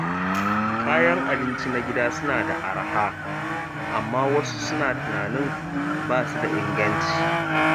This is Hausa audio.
Kayan abinci na gida suna da araha, amma wasu suna tunanin ba su da inganci.